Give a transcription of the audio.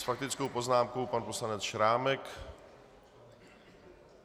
S faktickou poznámkou pan poslanec Šrámek.